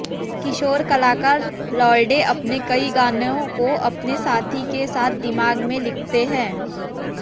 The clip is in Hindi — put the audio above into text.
किशोर कलाकार लॉर्डे अपने कई गानों को अपने साथी के साथ दिमाग में लिखते हैं